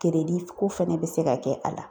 keredi ko fɛnɛ be se ka kɛ a la